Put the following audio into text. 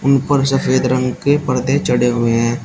ऊपर सफेद रंग के पर्दे चढ़े हुए हैं।